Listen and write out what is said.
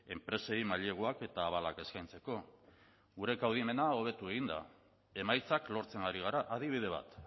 enpresei maileguak eta abalak eskaintzeko gure kaudimena hobetu egin da emaitzak lortzen ari gara adibide bat